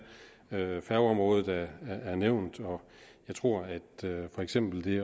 færgeområdet er nævnt og jeg tror at for eksempel det